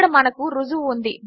ఇక్కడ మనకు రుజువు ఉంది